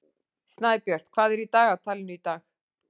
Snæbjört, hvað er í dagatalinu í dag?